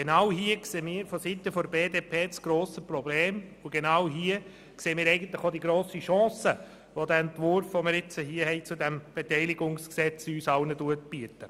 Genau hier sehen wir von der BDP das grosse Problem und zugleich die grosse Chance, die der Entwurf zu diesem Beteiligungsgesetz uns allen bietet.